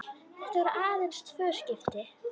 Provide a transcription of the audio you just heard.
Þetta voru aðeins tvö skipti.